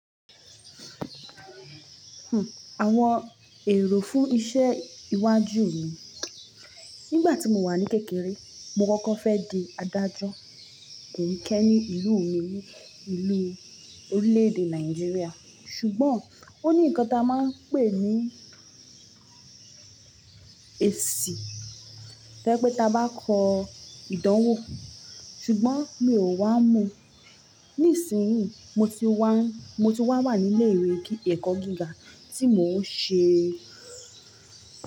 Àwọn èrò fún iṣẹ́ iwájú mi. Nígbà tí mo wà ní kékeré, mo kọ́kọ́ fẹ́ di adájọ́ kìíní kẹ́ ní ìlú mi, ìlú orílẹ̀ èdè Nàìjíríà. Ṣùgbọ́n ó ní nǹkan tí a máa ń pè ní ẹ̀ṣì, tó yẹ pé ta bá kọ ìdánwò, ṣùgbọ́n mi ò wá mọ̀. Ní ìsinyìí mo ti wá ń, mo ti wá wà ní ilé ìwé ẹ̀kọ́ gíga tí mo ń ṣe.